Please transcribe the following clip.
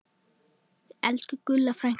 Elsku Gulla frænka mín.